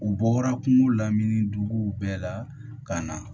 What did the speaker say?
U bɔra kungo la min ni duguw bɛɛ la ka na